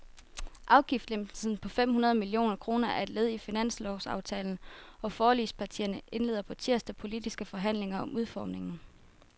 Afgiftslempelsen på fem hundrede millioner kroner er led i finanslovsaftalen, og forligspartierne indleder på tirsdag politiske forhandlinger om udformningen.